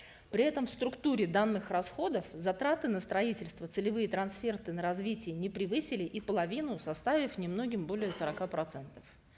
при этом в структуре данных расходов затраты на строительство целевые трансферты на развитие не превысили и половину составив немногим более сорока процентов